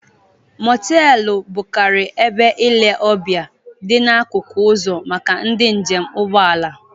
Motelu bụkarị ebe ile ọbịa dị n'akụkụ uzo maka ndị njem ụgbọala.